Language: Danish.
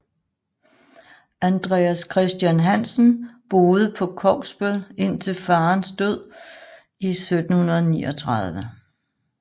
Andreas Christian Hansen boede på Kogsbøl indtil faderens død i 1739